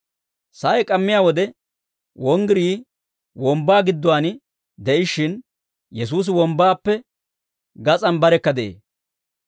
Sa'ay k'ammiyaa wode wonggirii wombbaa gidduwaan de'ishshin, Yesuusi wombbaappe gas'aan barekka de'ee.